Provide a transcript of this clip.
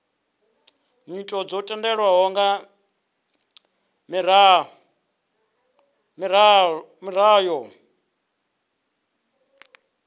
nyito dzo tendelwaho nga miraḓo